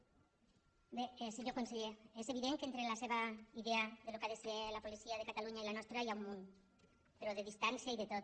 bé senyor conseller és evident que entre la seva idea del que ha de ser la policia de ca·talunya i la nostra hi ha un munt però de distància i de tot